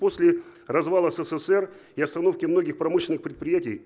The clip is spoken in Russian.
после развала ссср и остановки многих промышленных предприятий